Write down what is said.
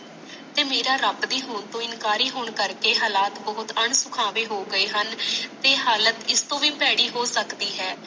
ਤੇ ਮਾਰਾ ਰਬ ਦੀ ਹੁਣ ਤੋਂ ਇਨਕਾਰੀ ਹੁਣ ਕਰਕੇ ਹਾਲਤ ਬਹੁਤ ਉਣਸੁਕਾਵੇ ਹੋ ਗਏ ਹਨ ਤੇ ਹਾਲਤ ਇਸ ਤੋਂ ਵੀ ਭੈੜੀ ਹੋ ਸਕਦੀ ਹੈ